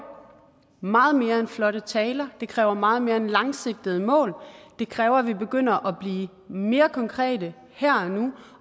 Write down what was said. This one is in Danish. meget mere end flotte taler det kræver meget mere end langsigtede mål det kræver at vi begynder at blive mere konkrete her og nu